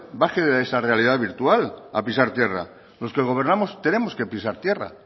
baje de esa realidad virtual a pisar tierra los que gobernamos tenemos que pisar tierra